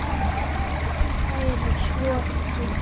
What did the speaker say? Kæri Sophus.